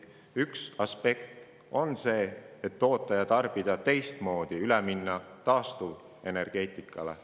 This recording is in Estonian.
Üks aspekt on see, et võiks toota ja tarbida teistmoodi ning minna üle taastuvenergeetikale.